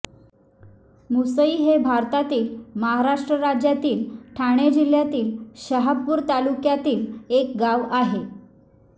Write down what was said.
मुसई हे भारतातील महाराष्ट्र राज्यातील ठाणे जिल्ह्यातील शहापूर तालुक्यातील एक गाव आहे